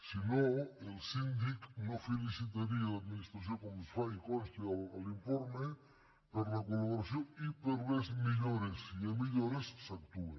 si no el síndic no felicitaria l’administració com ho fa i consta a l’informe per la col·laboració i per les millores si hi ha millores s’actua